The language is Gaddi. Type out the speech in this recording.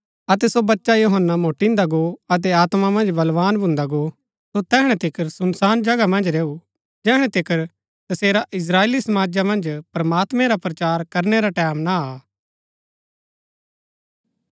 अतै सो बच्चा यूहन्‍ना मोटीन्‍दा गो अतै आत्मा मन्ज बलवान भुन्दा गो सो तैहणै तिकर सुनसान जगह मन्ज रैऊ जैहणै तिकर तसेरा इस्त्राएली समाजा मन्ज प्रमात्मां रा प्रचार करनै रा टैमं ना आ